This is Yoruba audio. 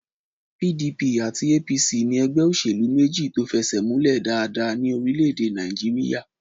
PDP àti APC ní ẹgbẹ́ òṣèlú méjì tó fẹsẹ̀múlẹ̀ dáadáa ní orílẹ̀-èdè Nàìjíríyà